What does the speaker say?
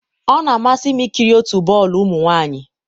ọ na-amasị m ikiri otu bọọlụ ụmụ nwanyị.